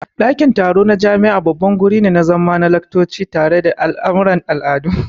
Dakin taro na jami'a babban gurin zama ne na laccoci, taro, da al'amuran al'adu.